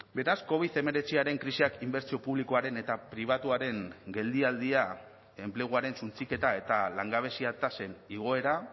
beraz covid hemeretziaren krisiak inbertsio publikoaren eta pribatuaren geldialdia enpleguaren suntsiketa eta langabezia tasen igoera